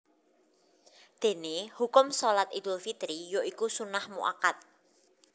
Déné hukum Shalat Idul Fitri ya iku sunnah mu akkad